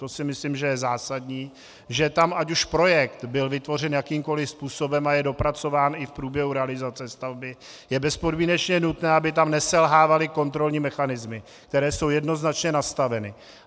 To si myslím, že je zásadní, že tam ať už projekt byl vytvořen jakýmkoliv způsobem a je dopracován i v průběhu realizace stavby, je bezpodmínečně nutné, aby tam neselhávaly kontrolní mechanismy, které jsou jednoznačně nastaveny.